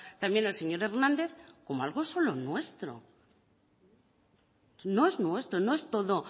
también el señor hernández como algo solo nuestro no es nuestro no es todo